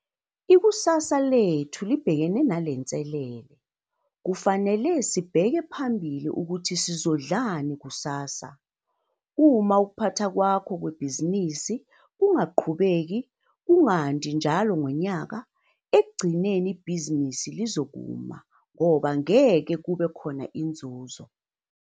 Ikusasa lethu libhekene nale nselele, kufanele sibheke phambili ukuthi sizodlani kusasa, - uma ukuphatha kwakho kwebhizinisi kungaqhubeki kungandi njalo ngonyaka -ekugcineni ibhizinisi lizokuma ngoba ngeke kube khona inzuzo.